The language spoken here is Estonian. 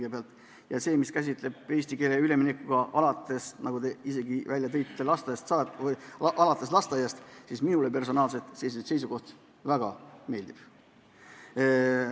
Eesti keelele üleminek alates lasteaiast, mida te isegi mainisite, minule personaalselt väga meeldib.